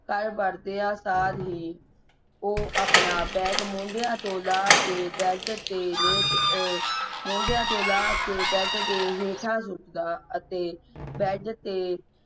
ਘਰ ਵੜਦਿਆਂ ਸਰ ਹੀ ਉਹ ਆਪਣਾ bag ਮੋਢੇ ਤੋਂ ਲਾਹ ਕੇ bed ਤੇ ਲੇਟ ਅਹ ਮੋਢਿਆਂ ਤੋਂ ਲਾਹ ਕੇ bed ਦੇ ਹੇਠਾਂ ਛੋਟ ਦਾ ਅਤੇ bed ਦੇ